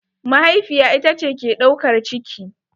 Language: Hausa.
Mahaifiya ita ce ke ɗaukar ciki.